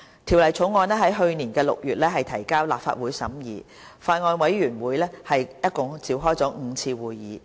《條例草案》在去年6月提交立法會審議。法案委員會共召開了5次會議。